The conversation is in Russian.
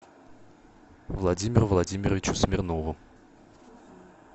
владимиру владимировичу смирнову